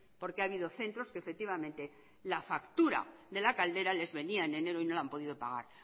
porque ha habido centros que efectivamente la factura de la caldera les venía en enero y no la han podido pagar